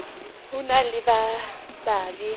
ho na le ba babe